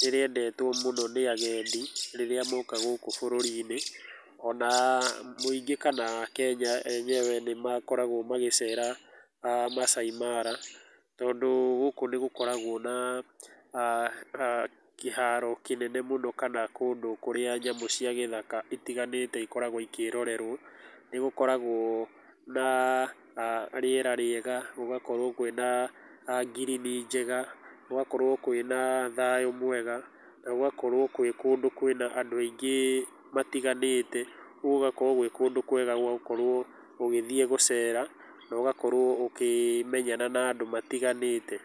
nĩrĩendetwo mũno nĩ agendi rĩrĩa moka gũkũ bũrũrinĩ, ona mũingĩ kana akenya enyewe nĩmakoragwo magĩcera Maasai Mara, tondũ gũkũ nĩgũkoragwo na kĩharo kĩnene mũno kana kũndũ kũrĩa nyamũ cia gĩthaka itiganĩte cikoragwo cikĩrorerwo, nĩgũkoragwo na rĩera rĩega nĩgũkoragwo kwĩna ngirini njega, gũgakorwo kwĩna thayũ mwega na gũgakorwo kũrĩ kũndũ kwĩna andũ aingĩ matiganĩte, ũguo gũgakorwo gwĩ kũndũ kwega gwa gũkorwo ũgĩthie gũcera na ũgakorwo ũkĩmenyana na andũ matiganĩte.